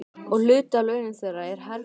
Og hluti af launum þeirra er herfang.